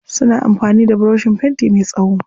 Suna amfani da burushin fenti me tsawo.